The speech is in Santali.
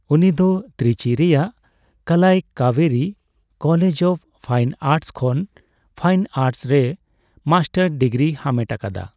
ᱩᱱᱤ ᱫᱚ ᱛᱨᱪᱤ ᱨᱮᱭᱟᱜ Kalai Kaviri college of fine arts ᱠᱷᱚᱱ ᱯᱷᱟᱭᱤᱱ ᱟᱨᱴᱥ ᱨᱮ ᱢᱟᱥᱴᱟᱨ ᱰᱤᱜᱽᱨᱤ ᱦᱟᱢᱮᱴ ᱟᱠᱟᱫᱟ।